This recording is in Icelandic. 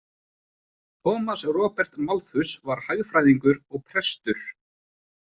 Thomas Robert Malthus var hagfræðingur og prestur.